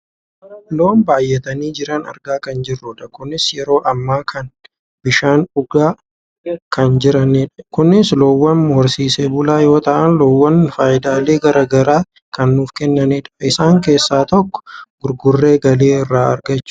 loon baayyatanii jiran argaa kan jirrudha kunis yeroo ammaa kan bishaan dhugaa kan jiranidha. kunis loowwan horsiisee bulaa yoo ta'an , loowwan fayidaalee gara gara kan nuuf kennanidha, isaan keessaa tokko gurgurree galii irraa argachuufidha.